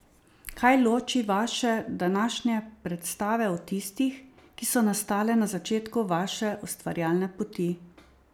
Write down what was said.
Kaj loči vaše današnje predstave od tistih, ki so nastale na začetku vaše ustvarjalne poti?